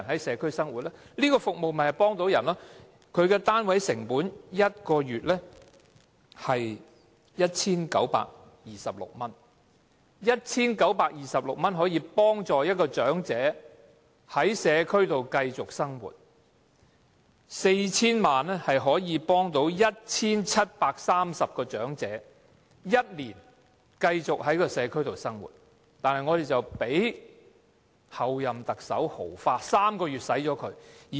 這項服務的單位成本是每月 1,926 元 ，1,926 元便可以幫助一位長者在社區繼續生活，而 4,000 萬元則可以幫助 1,730 名長者繼續在社區生活一年，但當局竟讓候任特首豪花，在3個月內花光。